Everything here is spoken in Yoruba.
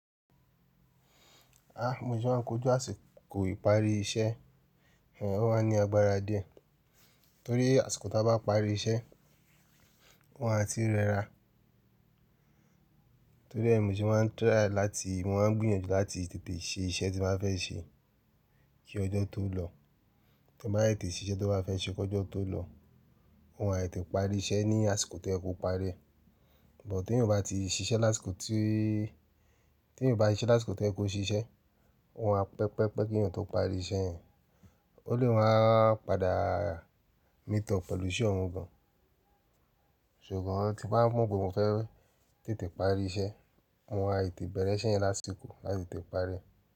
Bi mo se máa ń kojú àsìkò ìparí iṣẹ́, o máa ní agbára díẹ̀ torí àsìkò tí wọ́n bá parí iṣẹ́, o máa ti rẹra. Torí ẹ̀ Mósè máa try láti mọ máa ń gbìyànjú láti tètè ṣe iṣẹ́ tí mo ba fẹ́ ṣe kí ọjọ́ tó lọ. Tí wọ́n bá tètè ṣe iṣẹ́ tí wọ́n bá fẹ́ ṣe kí ọjọ́ tó lọ, wọn a tète parí iṣẹ́ ní àsìkò tí o yé kò parí ẹ̀. But tí èèyàn bá ti ṣiṣẹ́ lásìkò tí́, tí èèyàn o bá ṣe iṣẹ́ lásìkò to ye kò ṣiṣẹ́, o máa pẹpẹpẹ́ kí èèyàn tó parí iṣẹ́ yẹn. O lè wọ́n á padà meet up pẹ̀lú iṣẹ́ ọ̀un gan an. Ṣùgbọ́n tí bá mọ pe mofe tètè parí iṣẹ́, mo máa tètè bẹ̀rẹ̀ iṣẹ́ yẹn lásìkò láti tètè parí rẹ̀.